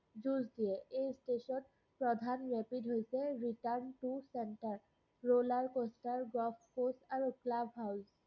যুজ দিয়ে। এই stretch ত প্ৰধান rapid হৈছে - return to centre, roller-coaster, golf-post আৰু club-house